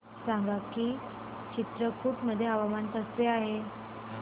सांगा की चित्रकूट मध्ये हवामान कसे आहे